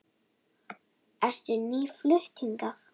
Ertu nýflutt hingað?